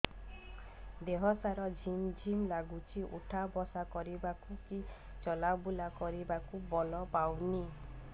ଦେହେ ହାତ ଝିମ୍ ଝିମ୍ ଲାଗୁଚି ଉଠା ବସା କରିବାକୁ କି ଚଲା ବୁଲା କରିବାକୁ ବଳ ପାଉନି